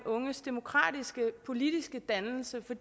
unges demokratiske politiske dannelse for